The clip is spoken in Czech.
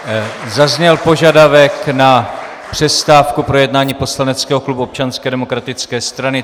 Zazněl požadavek na přestávku pro jednání poslaneckého klubu Občanské demokratické strany.